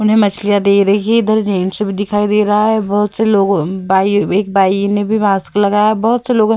उन्हें मछलियां दे रही है इधर जेंट्स भी दिखाई दे रहा है बहुत लोग इन्होंने भी मास्क लगा है बहुत से लोग --